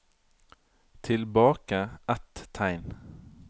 Tilbake ett tegn